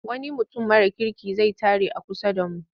Wani mutum mara kirki zai tare a kusa da mu.